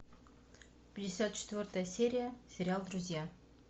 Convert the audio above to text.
пятьдесят четвертая серия сериал друзья